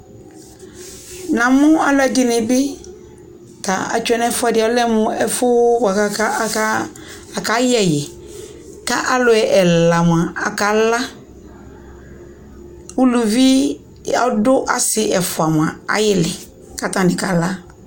namʋ alʋɛdini bi kʋ atwɛnʋ ɛƒʋɛdi alɛmʋ ɛƒʋ kʋ aka yɛ ɛyi kʋ alʋ ɛla mʋa akala, ʋlʋvi ɔdʋ asii ɛƒʋa mʋa ayili kʋ atani kala